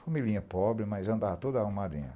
Familinha pobre, mas andava toda arrumadinha.